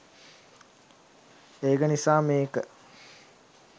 ඒක නිසා මේක